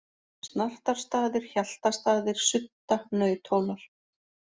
Snartarstaðir, Hjaltastaðir, Sudda, Nauthólar